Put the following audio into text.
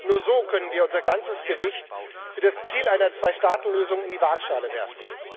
Nur so können wir unser ganzes Gewicht für das Ziel einer Zweistaatenlösung in die Waagschale werfen.